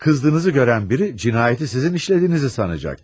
Qızdığınızı görən biri cinayəti sizin işlədiyinizi sanacaq.